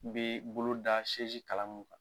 Bɛ bolo da kala mun kan